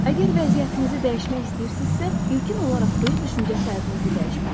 Əgər vəziyyətinizi dəyişmək istəyirsinizsə, ilkin olaraq öz düşüncə tərzinizi dəyişməlisiniz.